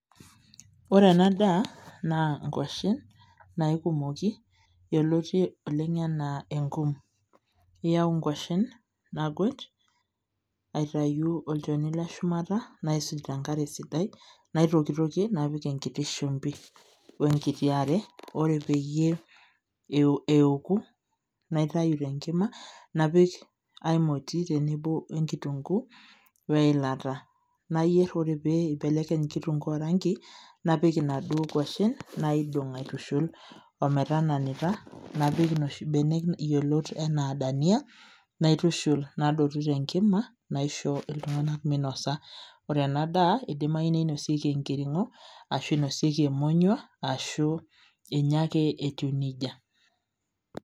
Ore ena daa, naa nkwashen, naikumoki, yioloti oleng enaa enkum. You nkwashen, naguet, aitayu olchoni leshumata, naisuj tenkare sidai, naitokitokie, napik enkiti shumbi. Wenkiti are, ore peyie eoku, naitayu tenkima, napik ai moti tenebo enkitunkuu, weilata. Nayier ore pee ibelekeny kitunkuu orangi, napik inaduo kwashen, naidong' aitushul, ometananita ,napik inoshi benek yiolot enaa dania ,naitushul nadotu tenkima, naisho iltung'anak minosa. Ore enadaa, idimayu ninosieki enkiring'o, ashu inosieki emonyua, ashu inya ake etiu nejia.